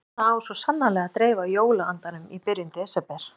Svona á svo sannarlega að dreifa jóla-andanum í byrjun desember.